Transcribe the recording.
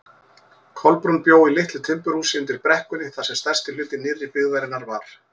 Kolbrún bjó í litlu timburhúsi undir brekkunni þar sem stærsti hluti nýrri byggðarinnar var.